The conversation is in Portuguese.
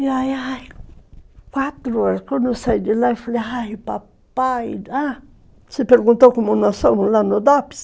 E aí, ai, quatro horas, quando eu saí de lá, eu falei, ai, papai, ah, você perguntou como nós fomos lá no Dopes?